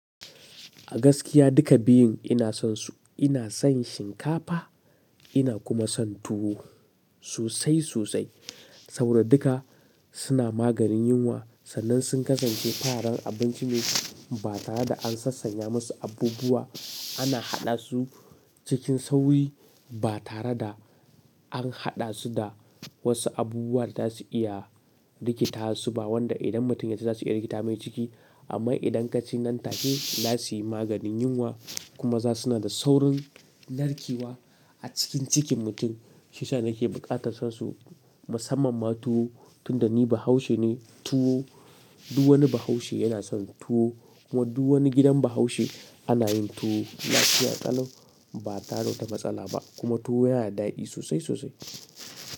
A gaskiya duka biyun ina son su. Ina son shinkafa, ina kuma son tuwo sosai sosai. Saboda duka suna maganin yunwa sannan sun kasance farin abinci ne ba tare da an sassanya masu abubuwa ana haɗa su cikin sauyi ba tare da an haɗa su da wasu abubuwa da za su iya rikita su ba wanda idan mutum ya ci za su iya rikita mai ciki. Amma idan ka ci nan take za su yi maganin yunwa kuma za su na da saurin narkewa a cikin cikin mutum. Shi yasa nake buƙatar son su, musamman ma tuwo tun da ni Bahaushe ne tuwo duk wani Bahaushe yana son tuwo kuma duk wani gidan Bahaushe ana yin tuwo. Nasiya ƙalau ba tare da wata matsala ba kuma tuwo yana da daɗi sosai sosai.